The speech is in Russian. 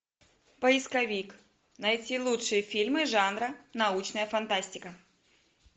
поисковик найти лучшие фильмы жанра научная фантастика